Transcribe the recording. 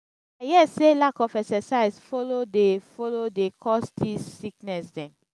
i hear sey lack of exercise folo dey folo dey cause dese sickness dem.